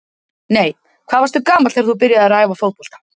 Nei Hvað varstu gamall þegar þú byrjaðir að æfa fótbolta?